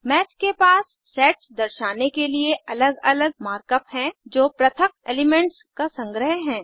माथ के पास सेट्स दर्शाने के लिए अलग अलग मार्क अप हैं जो पृथक एलिमेंट्स का संग्रह है